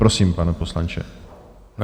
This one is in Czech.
Prosím, pane poslanče.